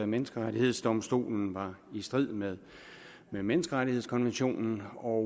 menneskerettighedsdomstolen var i strid med menneskerettighedskonventionen og